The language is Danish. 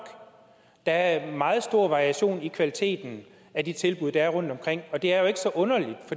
der er meget stor variation i kvaliteten af de tilbud der er rundtomkring og det er jo ikke så underligt